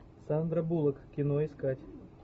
сандра буллок кино искать